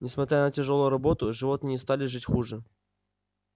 несмотря на тяжёлую работу животные не стали жить хуже